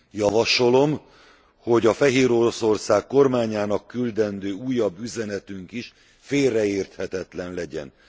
Javasolom, hogy a Fehéroroszország kormányának küldendő újabb üzenetünk is félreérthetetlen legyen.